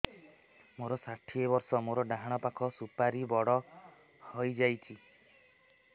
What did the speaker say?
ମୋର ଷାଠିଏ ବର୍ଷ ମୋର ଡାହାଣ ପାଖ ସୁପାରୀ ବଡ ହୈ ଯାଇଛ